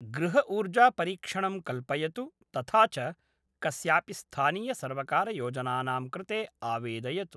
गृहऊर्जापरीक्षणं कल्पयतु तथा च कस्यापि स्थानीयसर्वकारयोजनानां कृते आवेदयतु।